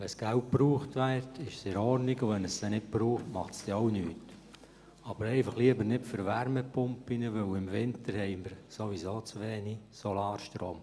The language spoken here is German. Wenn das Geld gebraucht wird, ist es in Ordnung, und wenn es nicht gebraucht wird, macht es auch nichts – aber lieber nicht für Wärmepumpen, denn im Winter haben wir sowieso zu wenig Solarstrom.